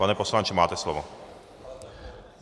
Pane poslanče, máte slovo.